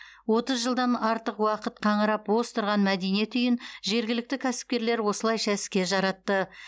отыз жылдан артық уақыт қаңырап бос тұрған мәдениет үйін жергілікті кәсіпкерлер осылайша іске жаратты